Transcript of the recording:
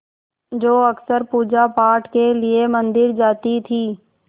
जो अक्सर पूजापाठ के लिए मंदिर जाती थीं